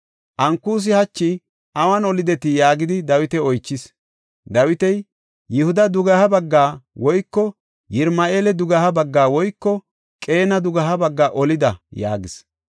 Ankusi, “Hachi awun olidetii?” gidi Dawita oychees. Dawiti, “Yihuda dugeha baggaa woyko Yirama7eela dugeha baggaa woyko Qeena dugeha baggaa olida” yaagees.